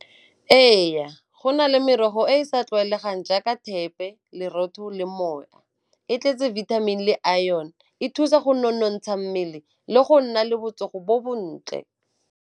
Ee, go na le merogo e e sa tlwaelegang jaaka thepe, lerotho le . E tletse vitamin le iron, e thusa go nonontsha mmele le go nna le botsogo bo bontle.